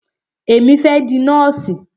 Èmi fẹ́ di nọ́ọ̀sì.